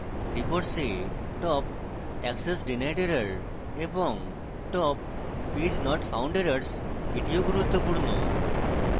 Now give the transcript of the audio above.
reports এ top access denied errors এবং top page not found errors ও গুরুত্বপূর্ণ